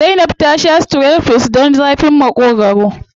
Zainab ta sha strepsils don zafin Maƙogwaro.